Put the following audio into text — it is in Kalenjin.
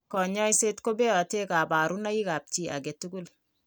Kanyoiset kobeote kabarunoikab chi age tugul.